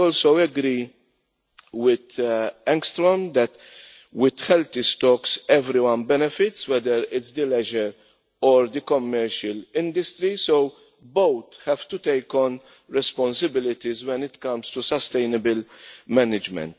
I also agree with Linnéa Engström that with healthy stocks everyone benefits, whether this is the leisure or the commercial industries, so both have to take on responsibilities when it comes to sustainable management.